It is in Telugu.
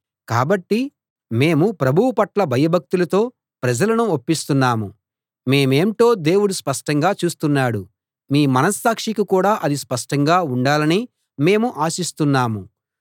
కాబట్టి మేము ప్రభువు పట్ల భయభక్తులతో ప్రజలను ఒప్పిస్తున్నాము మేమేంటో దేవుడు స్పష్టంగా చూస్తున్నాడు మీ మనస్సాక్షికి కూడా అది స్పష్టంగా ఉండాలని మేము ఆశిస్తున్నాము